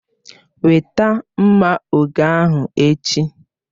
Weta mma oge ahu echi!